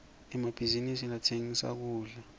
emabhizinisi latsengisa kudla